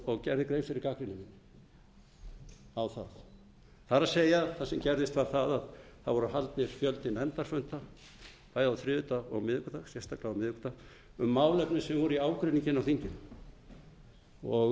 og gerði grein fyrir gagnrýni minni á það það er það sem gerðist var það að það var haldinn fjöldi nefndarfunda bæði á þriðjudag og miðvikudag sérstaklega á miðvikudag um málefni sem voru í ágreiningi inni á þinginu